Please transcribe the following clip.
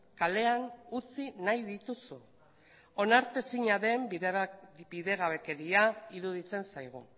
kalean utzi nahi dituzu onartezina den bidegabekeria iruditzen zaigu